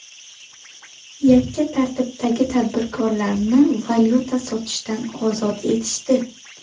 Yakka tartibdagi tadbirkorlarni valyuta sotishdan ozod etishdi.